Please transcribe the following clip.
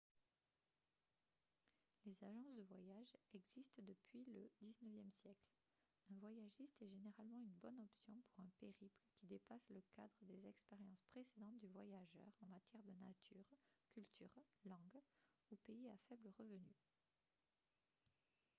les agences de voyage existent depuis le xixe siècle un voyagiste est généralement une bonne option pour un périple qui dépasse le cadre des expériences précédentes du voyageur en matière de nature culture langue ou pays à faible revenu